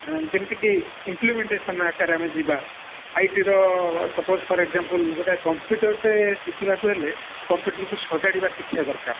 ଆଁ ଯେମତିକି implementation ଆକାରରେ ଆମେ ଯିବା IT ର suppose for example ଗୋଟେ computer ଟେ ଶିଖିବାକୁ ହେଲେ computer କୁ ସଜାଡିବା ଶିଖିବା ଦରକାର